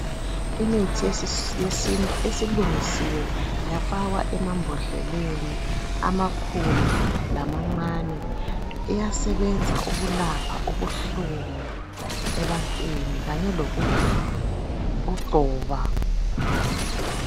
Imithi yesintu esilungisiwe yafakwa emambodleleni amakhulu lamancane iyasebenza ukulapha ubuhlungu ebantwini kanye lokugcoba